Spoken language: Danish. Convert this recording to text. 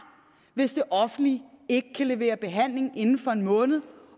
hvis det offentlige ikke kan levere en behandling inden for en måned